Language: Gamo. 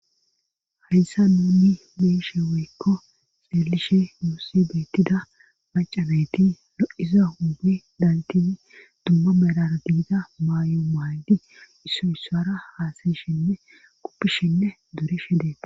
Hayssa nuunni beeshe weykko xeelishe musse beettida macanayti lo7iza hunbi daltidi dumma merar diida maayo maydi issoyssara haasayshinne quppishinne durishe dee